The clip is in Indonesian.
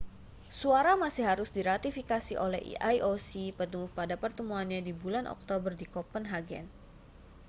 suara masih harus diratifikasi oleh ioc penuh pada pertemuannya di bulan oktober di kopenhagen